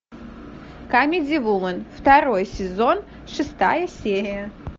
камеди вумен второй сезон шестая серия